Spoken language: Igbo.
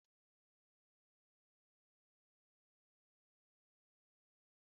N'ámá obodo, ndị okenye gbakọtara ịkọ akụkọ ọdịnala